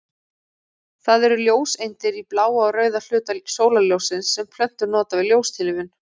Það eru ljóseindir í bláa og rauða hluta sólarljóssins sem plöntur nota við ljóstillífun.